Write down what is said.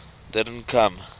don t come